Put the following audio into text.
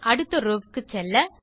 அடுத்த ரோவ் வுக்கு செல்ல